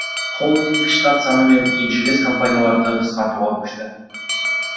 холдинг штат саны мен еншілес компанияларды қысқартуға көшті